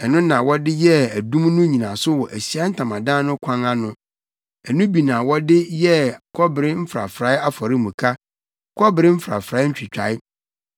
Ɛno na wɔde yɛɛ adum no nnyinaso wɔ Ahyiae Ntamadan no kwan ano. Ɛno bi ara na wɔde yɛɛ kɔbere mfrafrae afɔremuka, kɔbere mfrafrae ntwitae,